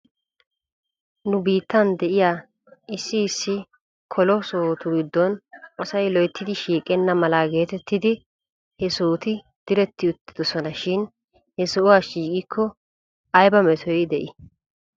Nu biittan de'iyaa issi issi kolo sohotu giddo asay loyttidi shiiqenna mala geetettidi he sohoti diretti uttidosona shin he sohuwaa shiiqettikko ayba metoy de'ii?